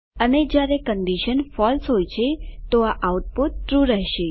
અને જયારે condition false હોય છે તો આઉટપુટ ટ્રૂ રહેશે